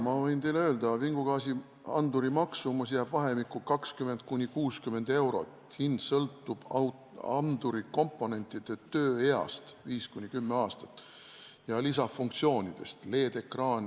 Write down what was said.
Ma võin teile öelda, vingugaasianduri maksumus jääb vahemikku 20–60 eurot, hind sõltub anduri komponentide tööeast, mis on 5–10 aastat, ja lisafunktsioonidest .